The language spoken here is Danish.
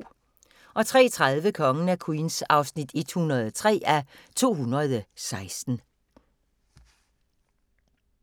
03:30: Kongen af Queens (103:216)